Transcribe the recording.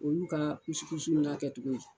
Olu ka kusikusi na kɛ cogo ye.